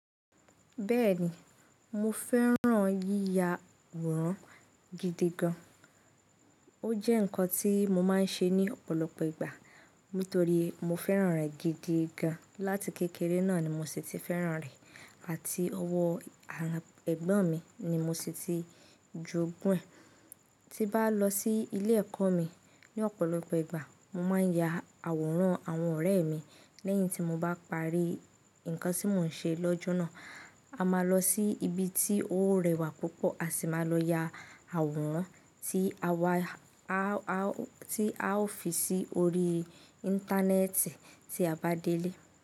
Bẹ́ẹ̀ ni, mo fẹ́ràn yíya àwòrán gidi gan. Ó jẹ́ nǹkan tí mo máa ń ṣe ní ọ̀pọ̀lọpọ̀ ìgbà nítorí mo fẹ́ràn rẹ̀ gidi gan. Láti kékeré náà ni mo sì ti fẹ́ràn rẹ̀ àti ọwọ́ ẹ̀gbọ́n mi ni mo sì ti jogún ẹ̀. Ti bá lọ sí ilé ẹ̀kọ́ mi ní ọ̀pọ̀lọpọ̀ ìgbà, mo máa ń ya àwòrán àwọn ọ̀rẹ́ mi lẹ́yìn tí mo bá parí nǹkan tí mò ń ṣe lọ́jọ́ náà. A máa lọ sí ibi tí ó rẹwà púpọ̀, a sì máa lọ ya àwòrán tí a ó fi sí orí Íńtánẹ́ẹ̀tì tí a bá délé.